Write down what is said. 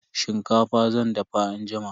Shinkafa zan dafa anjima.